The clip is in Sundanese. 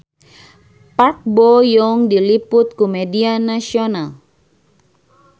Park Bo Yung diliput ku media nasional